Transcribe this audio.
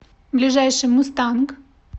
ближайший мустанг